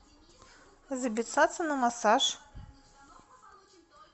записаться на массаж